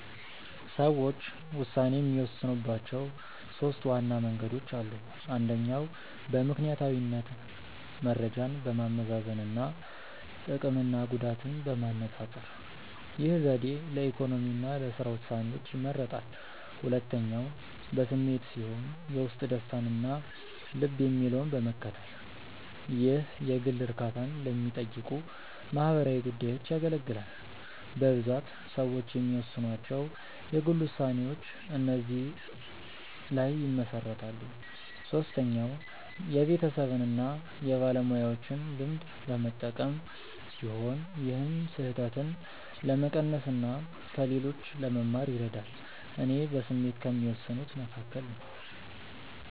ሰዎች ውሳኔ የሚወስኑባቸው ሦስት ዋና መንገዶች አሉ። አንደኛው በምክንያታዊነት መረጃን በማመዛዘን እና ጥቅምና ጉዳትን በማነፃፀር። ይህ ዘዴ ለኢኮኖሚ እና ለሥራ ውሳኔዎች ይመረጣል። ሁለተኛው በስሜት ሲሆን የውስጥ ደስታን እና ልብ የሚለውን በመከተል። ይህ የግል እርካታን ለሚጠይቁ ማህበራዊ ጉዳዮች ያገለግላል። በብዛት ሰዎች የሚወስኗቸው የግል ውሳኔዎች እዚህ ላይ ይመሰረታሉ። ሶስተኛው የቤተሰብን እና የባለሙያዎችን ልምድ በመጠቀም ሲሆን ይህም ስህተትን ለመቀነስ እና ከሌሎች ለመማር ይረዳል። እኔ በስሜት ከሚወስኑት መካከል ነኝ።